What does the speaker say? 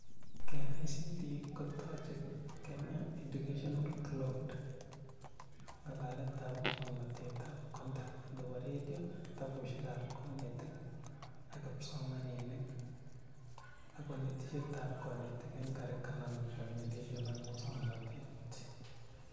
KICD kotochei Kenya Education Cloud (Ng'alaletab musoknotet ak content nebo radio ,kitabushekab konetik ak psomaninik ak konetishetab konetik eng curriculum implementation ak musoknotet